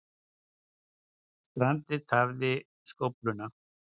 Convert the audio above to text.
Strandið tafði skófluna